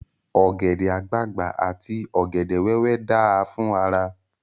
Ògẹ̀dè àgbagbà àti ògèdè wéwé dáa fún ara.